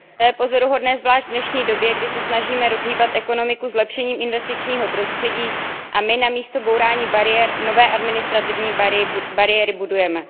To je pozoruhodné zvlášť v dnešní době, kdy se snažíme rozhýbat ekonomiku zlepšením investičního prostředí, a my namísto bourání bariér nové administrativní bariéry budujeme.